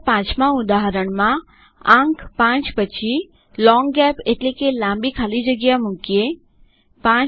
ચાલો પાંચમાં ઉદાહરણમાં લોંગ ગેપ એટલેકે લાંબી ખાલી જગ્યા મુકીએઆંક 5